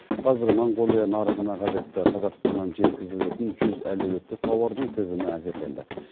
қазір моңғолия нарығына қажетті қазақстаннан жеткізілетін жүз әлеуетті тауардың тізімі әзірленді